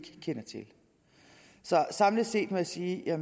kender til så samlet set må jeg sige at jeg